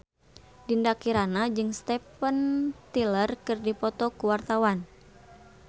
Dinda Kirana jeung Steven Tyler keur dipoto ku wartawan